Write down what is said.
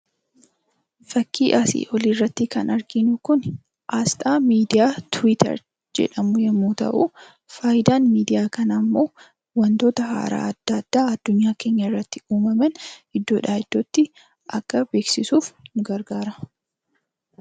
Fakkiin asii olitti arginu kun aasxaa miidiyaa "Tiwiitar" jedhamu yemmuu ta'u, faayidaan miidiyaa kanaa ammoo wantoota haaraa addunyaa keenya keenya irratti uumaman iddoodha iddootti akka beeksisu nu gargaara.